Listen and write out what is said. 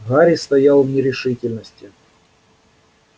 гарри стоял в нерешительности